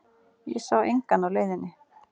Ég sá engan á leiðinni.